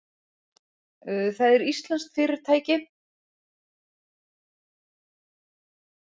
Það er íslenskt fyrirtæki.